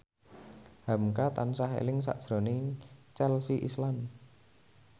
hamka tansah eling sakjroning Chelsea Islan